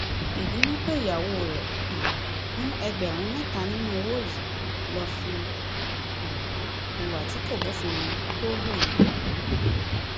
ìbínú pé ìyàwó rẹ um mú ẹgbẹrún mẹta nínú owó yìí ló fi um hùwà tí kò bófin mu tó hu ohun